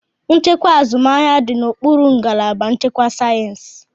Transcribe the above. Nchịkwa azụmahịa dị n'okpuru ngalaba nchịkwa sayensị.